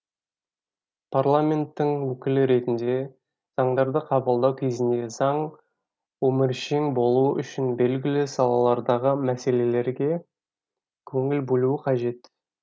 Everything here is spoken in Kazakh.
парламенттің өкілі ретінде заңдарды қабылдау кезінде заң өміршең болуы үшін белгілі салалардағы мәселеге көңіл бөлу қажет